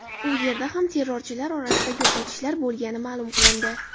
U yerda ham terrorchilar orasida yo‘qotishlar bo‘lgani ma’lum qilindi.